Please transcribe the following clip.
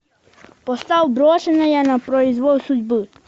поставь брошенная на произвол судьбы